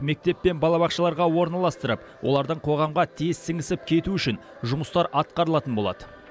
мектеп пен балабақшаларға орналастырып олардың қоғамға тез сіңісіп кетуі үшін жұмыстар атқарылатын болады